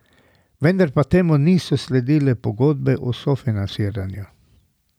Vendar pa temu niso sledile pogodbe o sofinanciranju.